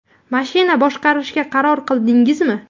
Mashina boshqarishga qaror qildingizmi?